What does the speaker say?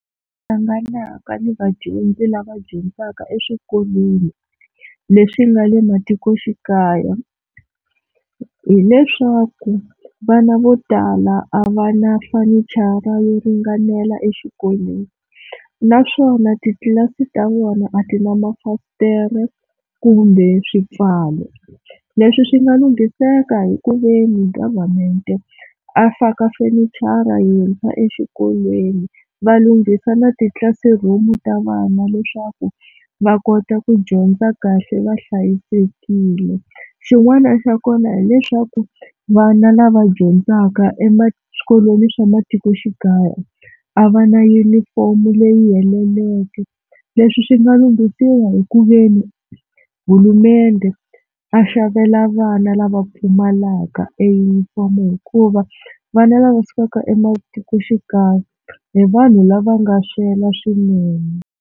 Hlanganaka ni vadyondzi lava dyondzaka eswikolweni leswi nga le matikoxikaya hileswaku vana vo tala a va na fenichara yo ringanela exikolweni naswona titlilasi ta vona a ti na mafasitere kumbe swipfalo, leswi swi nga lunghiseka hi ku ve ni government a faka fenichara yintshwa exikolweni va lunghisa na titlilasi room ta vana leswaku va kota ku dyondza kahle va hlayisekile, xin'wana xa kona hileswaku vana lava dyondzaka e ma eswikolweni swa le matikoxikaya a va na yunifomo leyi heleleke leswi swi nga lunghisiwa hi ku veni a xavela vana lava pfumalaka e yunifomo hikuva vana lava sukaka ematikoxikaya hi vanhu lava nga swela swinene.